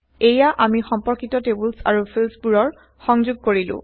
এইয়া আমি সমপৰ্কিত টেইবলচ আৰু ফিল্ডচবোৰ সংযোগ কৰিলো